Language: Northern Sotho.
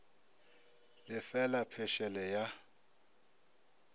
le fe la phešele ya